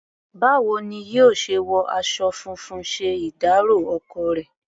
Báwo ni yóò ṣe wọ aṣọ funfun ṣe ìdárọ̀ ọkọ rẹ̀?